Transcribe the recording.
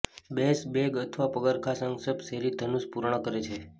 base bag અથવા પગરખાં સંક્ષિપ્ત શેરી ધનુષ પૂર્ણ કરે છે